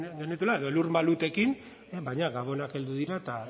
genituela edo elur malutekin baina gabonak heldu dira eta